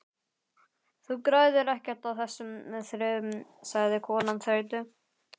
Þú græðir ekkert á þessu þrefi sagði konan þreytu